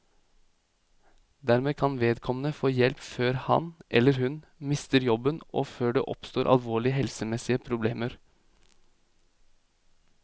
Dermed kan vedkommende få hjelp før han, eller hun, mister jobben og før det oppstår alvorlige helsemessige problemer.